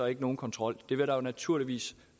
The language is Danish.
ikke nogen kontrol det vil der naturligvis